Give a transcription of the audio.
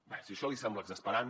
bé si això li sembla exasperant